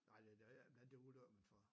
Nej det det jeg ved ikke om det er ulykker men for